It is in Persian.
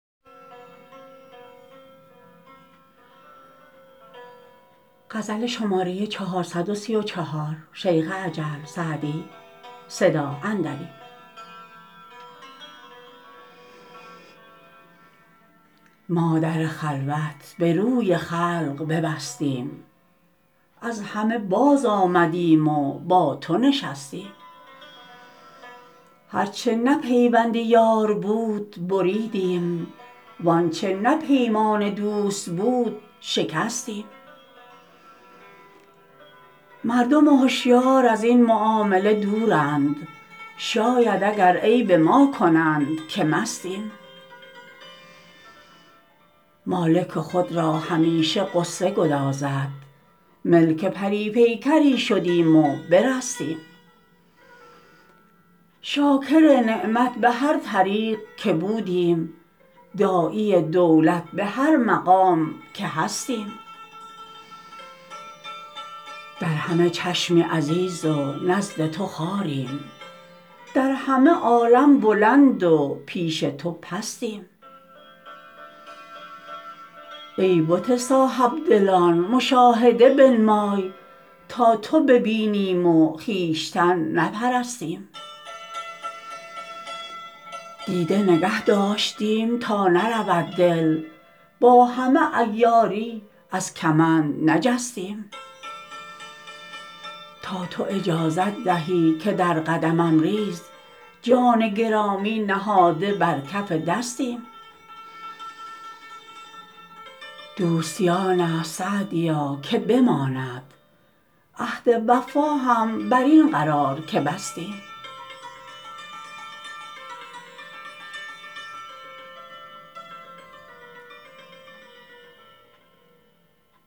ما در خلوت به روی خلق ببستیم از همه بازآمدیم و با تو نشستیم هر چه نه پیوند یار بود بریدیم وآنچه نه پیمان دوست بود شکستیم مردم هشیار از این معامله دورند شاید اگر عیب ما کنند که مستیم مالک خود را همیشه غصه گدازد ملک پری پیکری شدیم و برستیم شاکر نعمت به هر طریق که بودیم داعی دولت به هر مقام که هستیم در همه چشمی عزیز و نزد تو خواریم در همه عالم بلند و پیش تو پستیم ای بت صاحب دلان مشاهده بنمای تا تو ببینیم و خویشتن نپرستیم دیده نگه داشتیم تا نرود دل با همه عیاری از کمند نجستیم تا تو اجازت دهی که در قدمم ریز جان گرامی نهاده بر کف دستیم دوستی آن است سعدیا که بماند عهد وفا هم بر این قرار که بستیم